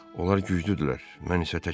Onlar güclüdülər, mən isə təkəm.